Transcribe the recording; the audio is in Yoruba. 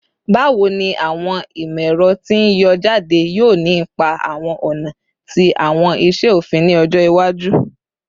Bawo ni awọn imọ-ẹrọ ti n yọ jade yoo ni ipa awọn ọna ti awọn iṣe ofin ni ọjọ iwaju?